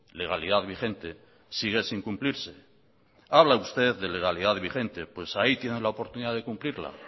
legalidad vigente sigue sin cumplirse habla usted de legalidad vigente pues ahí tiene la oportunidad de cumplirla